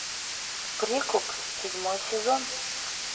прикуп седьмой сезон